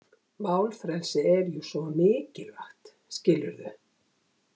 Málfrelsið er jú svo mikilvægt, skilurðu.